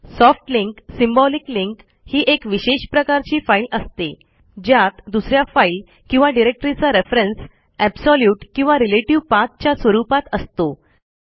soft link symbolic link ही एक विशेष प्रकारची फाईल असते ज्यात दुस या फाईल किंवा डिरेक्टरीचा रेफरन्स एब्सोल्यूट किंवा रिलेटिव्ह पाठ च्या स्वरूपात असतो